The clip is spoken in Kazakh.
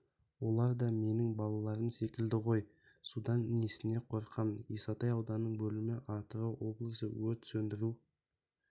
олар да менің балаларым секілді ғой судан снесіне қорқам исатай ауданының бөлімі атырау облысы өрт сөндіру